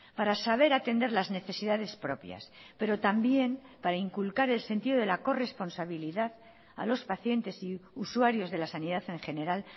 para saber atender las necesidades propias pero también para inculcar el sentido de la corresponsabilidad a los pacientes y usuarios de la sanidad en general